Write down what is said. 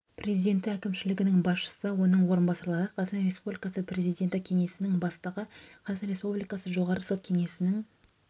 президенті әкімшілігінің басшысы оның орынбасарлары қазақстан республикасы президенті кеңсесінің бастығы қазақстан республикасы жоғары сот кеңесінің